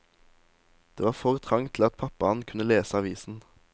Det var for trangt til at pappaen kunne lese avisen.